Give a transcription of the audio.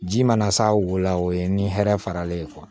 Ji mana s'a wo la o ye ni hɛrɛ faralen ye